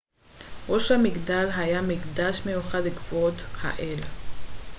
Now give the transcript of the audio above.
ראש המגדל היה מקדש מיוחד לכבוד האל